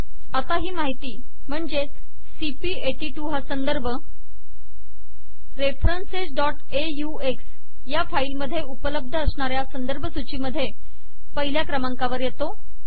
आता ही माहिती म्हणजे सीपी82 हा संदर्भ referencesऑक्स या फाईल मध्ये उपलब्ध अश्नार्या संदर्भ सूचीमध्ये पहिल्या क्रमांकावर येतो